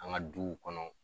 An ŋa duw kɔnɔ